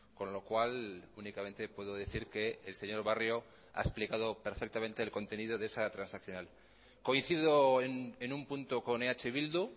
con lo cual únicamente puedo decir que el señor barrio ha explicado perfectamente el contenido de esa transaccional coincido en un punto con eh bildu